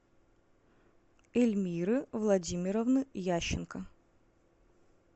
эльмиры владимировны ященко